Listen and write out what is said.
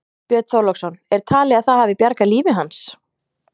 Björn Þorláksson: Er talið að það hafi bjargað lífi hans?